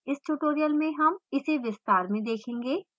इस tutorial में हम इसे विस्तार से देखेंगे